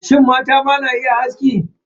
Shin, mata ma na iya aski?